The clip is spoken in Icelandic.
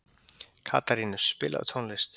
Katarínus, spilaðu tónlist.